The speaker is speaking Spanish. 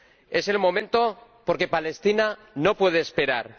Es el momento, porque Palestina no puede esperar.